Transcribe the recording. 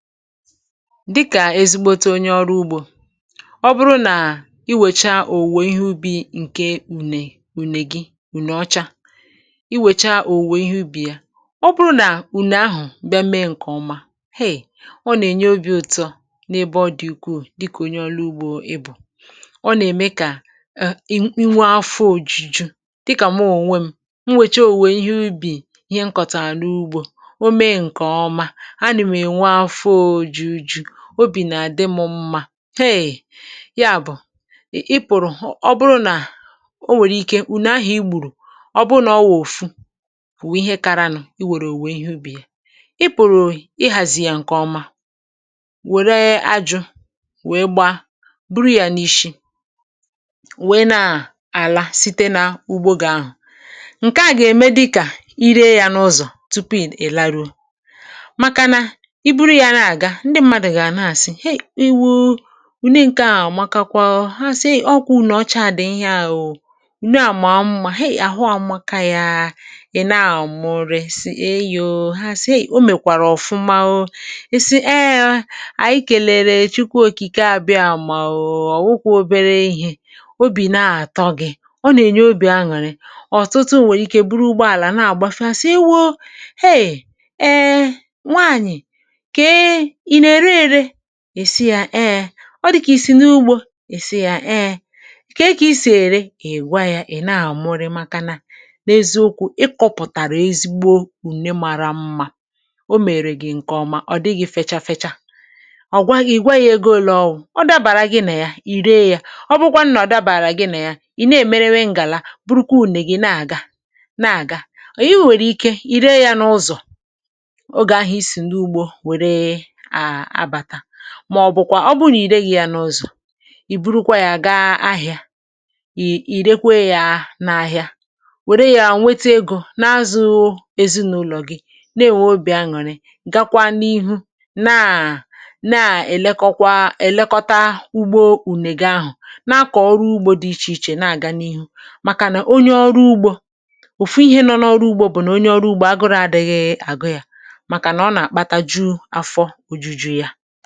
Dịka ezigbo onye ọrụ ugbo, ọ bụrụ na i wecha owuwe ihe ubi nke une gị, unu ọcha, i wecha owuwe ihe ubi ya, ọ bụrụ na une ahụ bịara mee nke ọma [um]heị, ọ na-enye obi ọtọ n’ebe ọ dị ukwuu. Dịka onye ọrụ ugbo ịbụ, ọ na-eme ka e nwee afọ ojuju. Dịka m nwere ihe m hụrụ n’anya, owuwe ihe nkọtara n’ugbo, o mee nke ọma, obi na-adị m mma [um]heị. Ya bụ, i pụtara, ọ bụrụ na o nwere ike na-ahọ igbu ruo, ọ bụrụ na ọ wụfuru ihe karịrị unu, i were owuwe ihe ubi ya, i pụtara i hazie ya nke ọma. Were ajụ wee gba buru ya n’isi, wee nà-ala site n’ugbo gaa ahụ. Nke a ga-eme dịka i ree ya n’ụzọ tupu i laruo, maka na iburu ya na-aga, ndị mmadụ ga-anasi, “Hee, ewoo unu nke ahụ mara mma!” Maka kwa ha si, “Ọgwụ na ọcha adị ihe ahụ, unu amụma ha ahụ mma.” Ka ya, i na-amụrịsi eyo ha si, o mekwara ọfụma. Eee, anyị kèlere Chukwu Okike. Abịa amụma ọfụma, ọ wụkwara obere ihe obi na-atọ gị, ọ na-enye obi aṅụrị. Ọtụtụ o nwere ike bụrụ ugbo ala na-agafe, ha si, “Ewoo!” [um]heị. Nwaanyị enere rere e, o di ka si ya, ee. Ọ dị ka i si n’ugbo esi ya, ee, ka e si ere ewa ya. I na-amụrịsi maka na n’eziokwu, ị kọpụtara ezigbo une mara mma. O mere gị nke ọma, ọ dịghị fechaa-fechaa. Ọ gwaghị gị, gwa ya ego ụlọ, ọ dabara gị na ya, i ree ya. Ọ bụkwa nnọ dabara gị na ya. I na-emere ngala, bụrụkwa une gị, na-aga n’ihu. I nwekwara ike ree ya n’ụzọ, ma ọ bụkwa ọ bụrụ na i ree ya n’ọzọ. I buru kwa ya gaa ahịa, i rekwee ya n’ahịa, were ya nweta ego, na-azụ ezinụlọ gị, na-enwe obi aṅụrị. Gakwa n’ihu na-elekọta ugbo uneghe ahụ, na-akọ ọrụ ugbo dị iche iche, na-aga n’ihu. Maka na onye ọrụ ugbo ụfụ ihe nọ n’ọrụ ugbo bụ na onye ọrụ ugbo agụrụ adịghị agụ ya, maka na ọ na-akpata afọ ojuju ya.